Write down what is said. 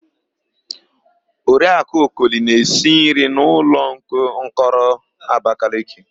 Oriakụ Okoli na-esi nri na ụlọmkọrọ Abakeleke.